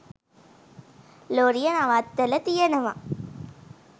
ලොරිය නවත්තල තියනව.